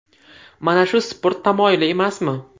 Mana shu sport tamoyili emasmi?